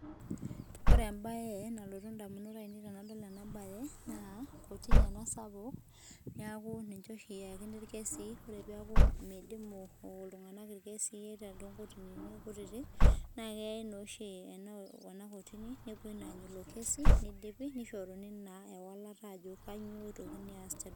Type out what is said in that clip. Ore embae nalotu edamunot ainei tenadol ena mbae naa kotini ena sapuk neeku ninche oshi eyakini irkesin ore peeku midimu iltung'ana irkesin too nkotinini kutiti naa keyau naa oshi ena kotini nepuoi Anya elo kesi nidipi nishoruni naa ewalata Ajo kainyio etokini aas